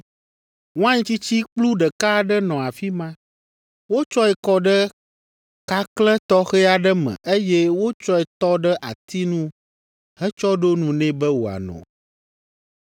Wain tsitsi kplu ɖeka aɖe nɔ afi ma. Wotsɔe kɔ ɖe kakle tɔxɛ aɖe me eye wotsɔe tɔ ɖe ati nu hetsɔ ɖo nu nɛ be wòano.